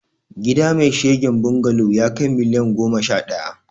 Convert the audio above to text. Gida mai shigen bungalo yakai miliyan goma sha daya